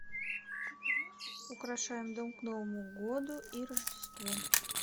украшаем дом к новому году и рождеству